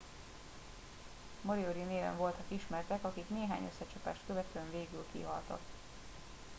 """moriori""-néven voltak ismertek akik néhány összecsapást követően végül kihaltak.